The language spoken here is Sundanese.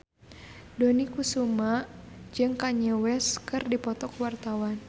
Dony Kesuma jeung Kanye West keur dipoto ku wartawan